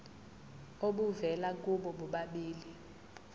obuvela kubo bobabili